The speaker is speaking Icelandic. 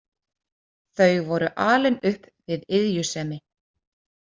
Þau voru alin upp við iðjusemi.